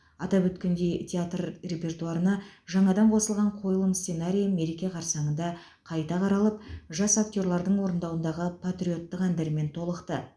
атап өткендей театр репертуарына жаңадан қосылған қойылым сценарийі мереке қарсаңында қайта қаралып жас актерлардың орындауындағы патриоттық әндермен толықты